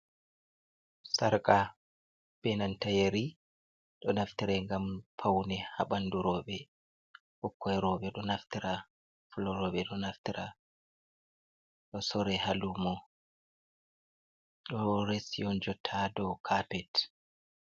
Sarka be nanta yeri, ɗo naftire ngam paune haa ɓandu rowɓe ɓikkon rowɓe ɗo naftira, fulorowɓe ɗo naftira, ɗo soore haa lumo, ɗo resi on jotta dow kapet.